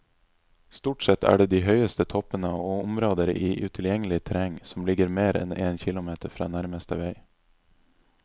Stort sett er det de høyeste toppene og områder i utilgjengelig terreng som ligger mer enn en kilometer fra nærmeste vei.